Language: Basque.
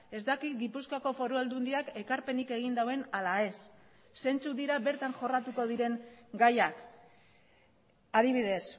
ez dakit gipuzkoako foru aldundiak ekarpenik egin duen ala ez zeintzuk dira bertan jorratuko diren gaiak adibidez